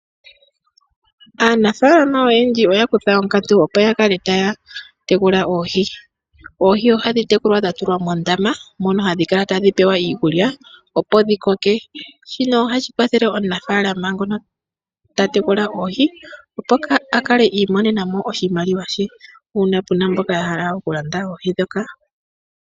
Aanafalama oyendji oya kutha onkatu opo yakale taya tekula oohi. Oohi ohadhi tekulwa dha tulwa mondama, mono hadhi kala tadhi pewa iikulya, opo dhikoke. Shino ohashi kwathele omunafaalama ngono ta tekula oohi, opo akale iimonena mo oshimaliwa she, uuna puna mboka yahala okulanda oohi.